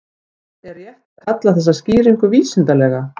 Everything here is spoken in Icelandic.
En er rétt að kalla þessa skýringu vísindalega?